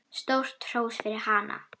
Stórt hrós fyrir hana.